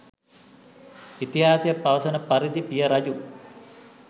ඉතිහාසය පවසන පරිදි පිය රජු